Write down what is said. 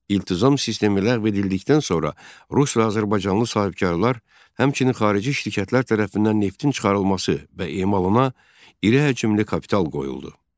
İltizam sistemi ləğv edildikdən sonra rus və azərbaycanlı sahibkarlar, həmçinin xarici şirkətlər tərəfindən neftin çıxarılması və emalına iri həcmli kapital qoyuldu.